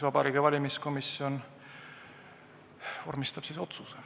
Vabariigi Valimiskomisjon vormistab otsuse.